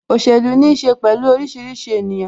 Òṣèlú ní ṣe pẹ̀lú orísìírísìí ènìyàn